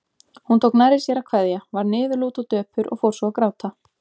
Hún tók nærri sér að kveðja, varð niðurlút og döpur og fór svo að gráta.